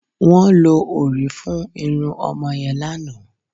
Wọ́n lo òrí fún irun ọmọ yẹn lánàá